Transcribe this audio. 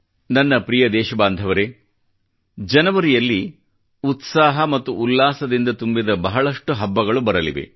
ನನ್ನ ಪ್ರಿಯ ದೇಶಬಾಂಧವರೇ ಜನವರಿಯಲ್ಲಿ ಉತ್ಸಾಹ ಮತ್ತು ಉಲ್ಲಾಸದಿಂದ ತುಂಬಿದ ಬಹಳಷ್ಟು ಹಬ್ಬಗಳು ಬರಲಿವೆ